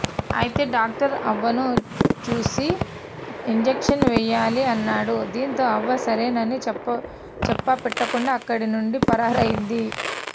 అయితే డాక్టర్ అవ్వను చూసి ఇంజక్షన్ వేయాలి అన్నాడు దింతో అవ్వ సరేనని చెప్పపెట్టకుండా అక్కడి నుండి పరార్ అయింది